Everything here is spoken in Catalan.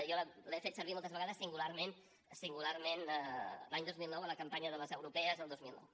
jo l’he fet servir moltes vegades singularment singularment l’any dos mil nou a la campanya de les europees del dos mil nou